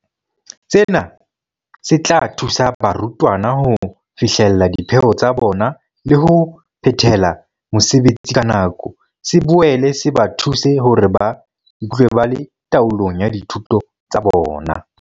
Sena se tla thusa barutwana ho fihlella dipheo tsa bona le ho phethela mosebetsi ka nako, se boele se ba thuse hore ba ikutlwe ba le taolong ya dithuto tsa bona.